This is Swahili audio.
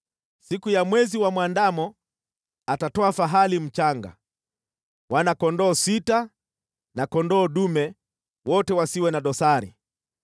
Siku ya mwezi mwandamo atatoa fahali mchanga, wana-kondoo sita na kondoo dume, wote wasiwe na dosari.